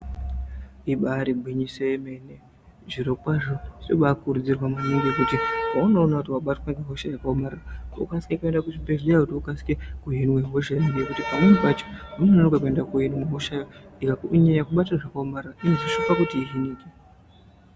Ibari gwinyiso yemene, zvirokwazvo zvinobakurudzirwa maningi kuti paunoona kuti vabtwa ngehosha yakaomarara. Unokwanise kuenda kuzvibhedhleya kuti ukwanise kuhinwe hosha, nekuti pamweni pacho paunonoka kuenda kunohinwe hosha ikanyanya kubata zvakaomarara inozosvika pakuti ihinike.